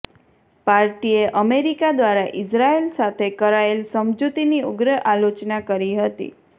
પાર્ટીએ અમેરિકા દ્વારા ઇઝરાયેલ સાથે કરાયેલ સમજૂતીની ઉગ્ર આલોચના કરી હતી